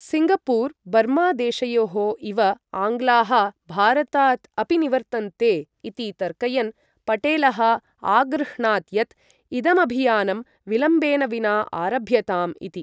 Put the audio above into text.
Singapore Burma देशयोः इव आङ्ग्लाः भारतात् अपि निवर्तन्ते इति तर्कयन्, पटेलः आगृह्णात् यत् इदमभियानं विलम्बेन विना आरभ्यताम् इति।